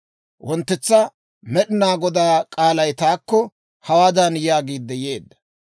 Wonttetsa Med'inaa Godaa k'aalay taakko hawaadan yaagiidde yeedda;